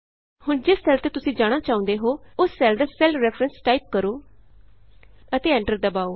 ਹੁਣ ਜਿਸ ਸੈੱਲ ਤੇ ਤੁਸੀਂ ਜਾਣਾ ਚਾਹੁੰਦੇ ਹੋ ਉਸ ਸੈੱਲ ਦਾ ਸੈੱਲ ਰੈਫਰੈਂਸ ਟਾਈਪ ਕਰੋ ਅਤੇ ਐਂਟਰ ਦਬਾਉ